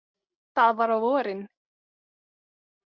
Það var á vorin.